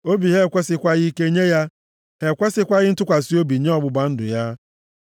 Obi ha ekwesịkwaghị ike nye ya. Ha ekwesighị ntụkwasị obi nye ọgbụgba ndụ ya.